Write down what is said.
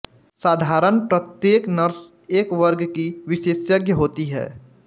साधारणत प्रत्येक नर्स एक वर्ग की विशेषज्ञ होती है